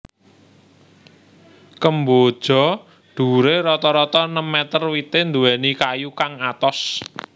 Kemboja dhuwuré rata rata enem meter wité nduwèni kayu kang atos